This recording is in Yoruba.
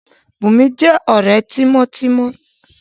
Bùnmi jẹ́ ọ̀rẹ́ mi tímọ́ tímọ́